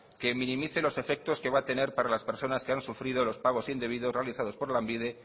que minimice los efectos que va a tener para las personas que han sufrido los pagos indebidos realizados por lanbide